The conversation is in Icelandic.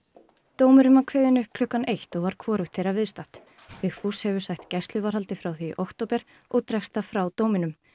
dómurinn var kveðinn upp klukkan eitt og var hvorugt þeirra viðstatt Vigfús hefur sætt gæsluvarðhaldi frá því í október og dregst það frá dóminum